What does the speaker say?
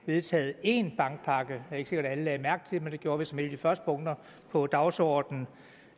vedtaget en bankpakke det er ikke sikkert at alle lagde mærke til det men det gjorde vi som et af de første punkter på dagsordenen og